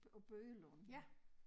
På Bøgelund